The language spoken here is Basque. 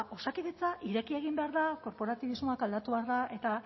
osakidetza ireki egin behar da korporatibismoa aldatu behar da eta